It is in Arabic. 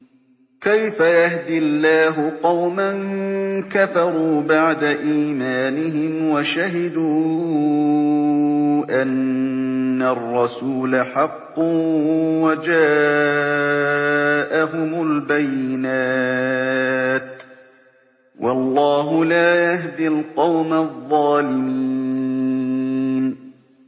كَيْفَ يَهْدِي اللَّهُ قَوْمًا كَفَرُوا بَعْدَ إِيمَانِهِمْ وَشَهِدُوا أَنَّ الرَّسُولَ حَقٌّ وَجَاءَهُمُ الْبَيِّنَاتُ ۚ وَاللَّهُ لَا يَهْدِي الْقَوْمَ الظَّالِمِينَ